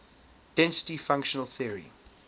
density functional theory